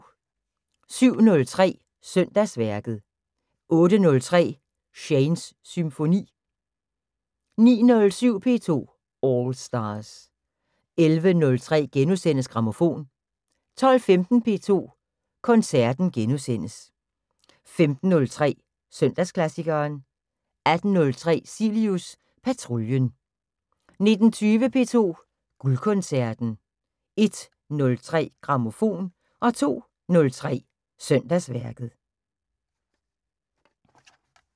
07:03: Søndagsværket 08:03: Shanes Symfoni 09:07: P2 All Stars 11:03: Grammofon * 12:15: P2 Koncerten * 15:03: Søndagsklassikeren 18:03: Cilius Patruljen 19:20: P2 Guldkoncerten 01:03: Grammofon 02:03: Søndagsværket